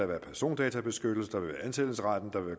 være persondatabeskyttelse der vil være ansættelsesretten og der vil